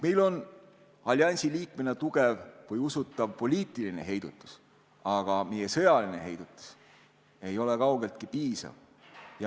Meil on alliansi liikmena tugev või usutav poliitiline heidutus, aga meie sõjaline heidutus ei ole kaugeltki piisav.